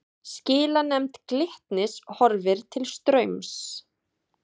Skilanefnd Glitnis horfir til Straums